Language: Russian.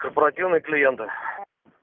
корпоративные клиенты